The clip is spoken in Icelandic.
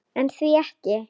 En því ekki?